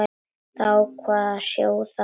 Þær ákváðu að sjóða snemma.